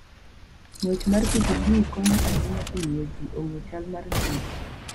Ng'wech mar pikipiki konyo ahinya e miyo ji ong'e chal mar ngimagi.